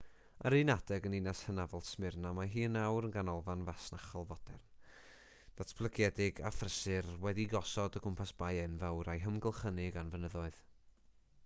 ar un adeg yn ninas hynafol smyrna mae hi yn awr yn ganolfan fasnachol fodern ddatblygedig a phrysur wedi'i gosod o gwmpas bae enfawr a'i hamgylchynu gan fynyddoedd